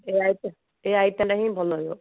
ଏଇ item ଏଇ item ଭଲ ରହିବ